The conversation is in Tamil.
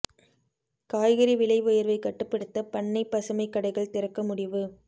காய்கறி விலை உயர்வை கட்டுப்படுத்த பண்ணை பசுமை கடைகள் திறக்க முடிவு